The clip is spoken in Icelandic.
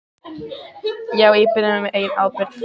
Á því beri hann sjálfur ábyrgð